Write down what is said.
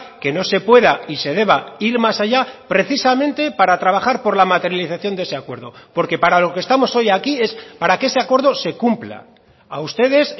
que no se pueda y se deba ir más allá precisamente para trabajar por la materialización de ese acuerdo porque para lo que estamos hoy aquí es para que ese acuerdo se cumpla a ustedes